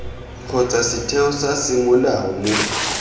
kgotsa setheo sa semolao mo